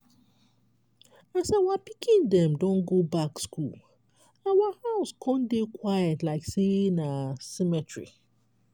as our pikin dem don go back school our house con dey quiet like sey na cemetery.